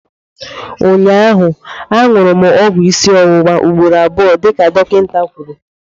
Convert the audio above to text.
Ụnyaahụ, añụrụ m ọgwụ isi ọwụwa ugboro abụọ dịka dọkịta kwuru